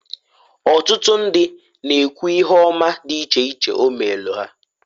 Otutu ndi na-ekwu ihe oma di iche iche o meelu ha.